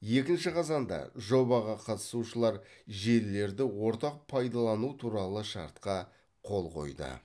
екінші қазанда жобаға қатысушылар желілерді ортақ пайдалану туралы шартқа қол қойды